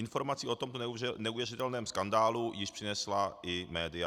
Informaci o tomto neuvěřitelném skandálu již přinesla i média.